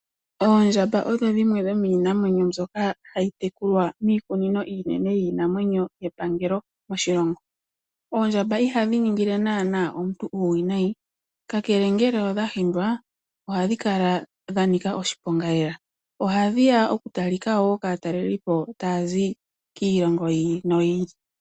Oondjamba odho dhimwe dhomiinamwenyo mbyoka hayi tekulwa miikunino iinene yiinamwenyo kepangelo moshilongo. Oondjamba iha dhi ningile nana omuntu uuwinayi, ka kele ngele odha hindwa oha dhi kala dha nika oshiponga lela. Ohadhi ya oku talika woo kaatalelipo taa zi kiilongo yi ili no yi ili.